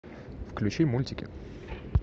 включи мультики